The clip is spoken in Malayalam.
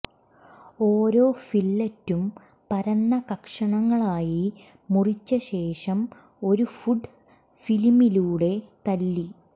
ഓരോ ഫില്ലറ്റും പരന്ന കഷങ്ങളായി മുറിച്ചശേഷം ഒരു ഫുഡ് ഫിലിമിലൂടെ തല്ലി